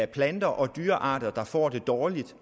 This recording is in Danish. plante og dyrearter der får det dårligt